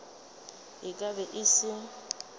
e ka be e se